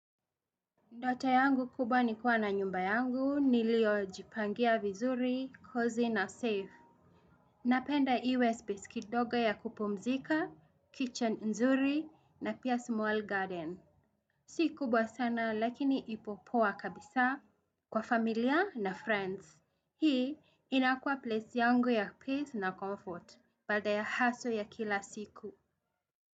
Ndoto yangu kubwa nikuwa na nyumba yangu, nilio jipangia vizuri, cozy na safe. Napenda iwe space kidogo ya kupumzika, kitchen nzuri na pia small garden. Si kubwa sana lakini ikopoa kabisa kwa familia na friends. Hii inakua place yangu ya peace na comfort baada ya hustle ya kila siku.